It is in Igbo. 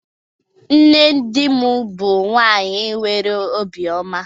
Nne dim bu nwanyi nwere obi oma